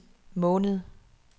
måned